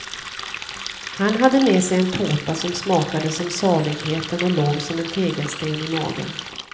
Han hade med sig en tårta som smakade som saligheten och låg som en tegelsten i magen.